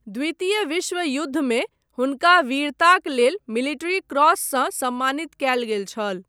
द्वितीय विश्व युद्धमे, हुनका वीरताक लेल मिलिट्री क्रॉससँ सम्मानित कयल गेल छल।